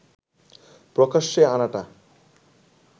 প্রকাশ্যে আনাটা